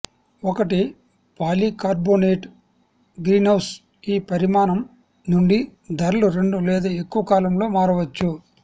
ఒకటి polycarbonate greenhouse ఈ పరిమాణం నుండి ధరలు రెండు లేదా ఎక్కువ కాలంలో మారవచ్చు